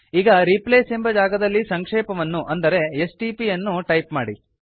ಈಗ ರಿಪ್ಲೇಸ್ ಎಂಬ ಜಾಗದಲ್ಲಿ ಸಂಕ್ಷೇಪವನ್ನು ಅಂದರೆ ಎಸ್ಟಿಪಿ ಯನ್ನು ಟೈಪ್ ಮಾಡಿ